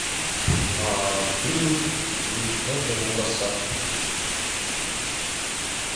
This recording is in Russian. фильм джорджа лукаса